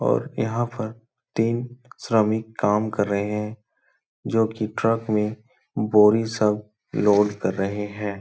और यहाँ पर तीन श्रमिक काम कर रहें हैं जो कि ट्रक में बोरी सब लोड कर रहे हैं।